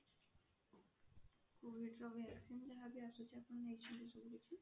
COVID ର vaccine ଯାହା ବି ଆସୁଛି ଆପଣ ନେଇଛନ୍ତି ସେ vaccine?